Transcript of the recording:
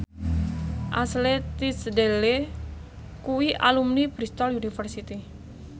Ashley Tisdale kuwi alumni Bristol university